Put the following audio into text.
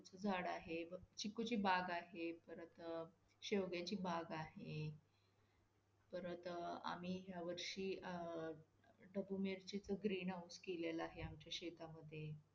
आणि pizza सुद्धा निट बनतो मग त्यामुळे काही problem गर्दी येते त्यामुळे आपल्याकडे त्यावेळेला आपल्याला माहीत नसतं काहीसा एवढ्या गर्दीमध्ये कसं बनवायचं पटापट नवीन fresher असाल तर‌.